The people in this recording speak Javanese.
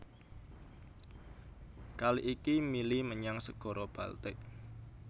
Kali iki mili menyang Segara Baltik